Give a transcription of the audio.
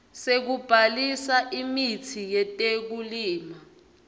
sekubhalisa imitsi yetekulima